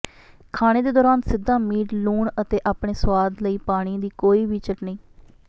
ਖਾਣੇ ਦੇ ਦੌਰਾਨ ਸਿੱਧਾ ਮੀਟ ਲੂਣ ਅਤੇ ਆਪਣੇ ਸੁਆਦ ਲਈ ਪਾਣੀ ਦੀ ਕੋਈ ਵੀ ਚਟਣੀ